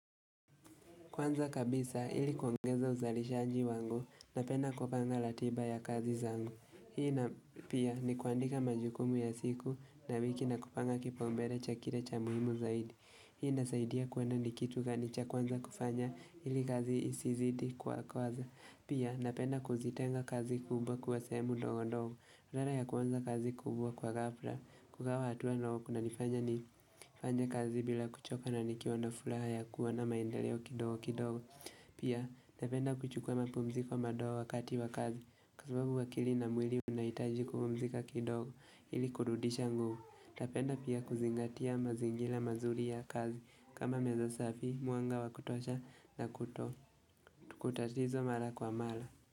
Kwanza kabisa ilikuongeza uzalishaji wangu, napenda kupanga ratiba ya kazi zangu. Hii na pia ni kuandika majukumu ya siku, na wiki, na kupanga kipaumbele cha kile cha muhimu zaidi. Hii inasaidia kwenda ni kitu gani cha kwanza kufanya, ili kazi isizidi kwa kwanza. Pia, napenda kuzitenga kazi kubwa kuwa sehemu ndogo ndogo. Rara ya kwanza kazi kubwa kwa ghafla, kugawa hatua nao kunanifanya nifanye kazi bila kuchoka, na nikiwa ndo furaha ya kuwa na maendeleo kidogo kidogo Pia, napenda kuchukua mapumziko madogo wakati wa kazi, kwa subabu akili na mwili unahitaji kupumzika kidogo, ili kurudisha nguvu. Napenda pia kuzingatia mazingira mazuri ya kazi, kama meza safi, mwanga wa kutosha na kuto, kutatizo mara kwa mara.